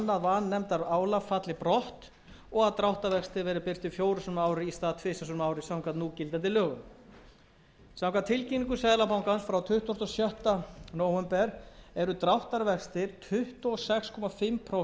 vanefndaálag falli brott og að dráttarvextir verði birtir fjórum sinnum á ári í stað tvisvar á ári samkvæmt núgildandi lögum samkvæmt tilkynningu seðlabankans frá tuttugasta og sjötta nóvember eru dráttarvextir tuttugu og sex og hálft prósent til og með þrítugasta og fyrsta desember tvö þúsund og átta þannig